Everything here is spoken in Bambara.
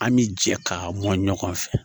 An bi jɛ ka mɔn ɲɔgɔn fɛ